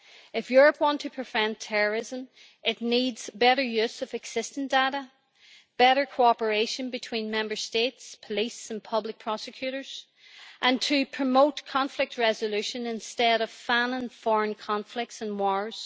If Europe wants to prevent terrorism, it needs better use of existing data, better cooperation between Member States, police and public prosecutors, and it needs to promote conflict resolution instead of fanning foreign conflicts and wars.